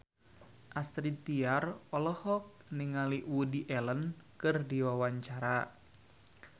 Astrid Tiar olohok ningali Woody Allen keur diwawancara